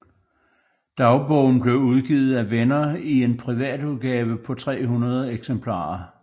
Dagbogen blev udgivet af venner i en privatudgave på 300 eksemplarer